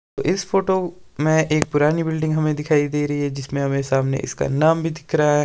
इस फोटो में एक पुरानी बिल्डिंग हमें दिखाई दे रही है जिसमें हमें सामने इसका नाम भी दिख रहा--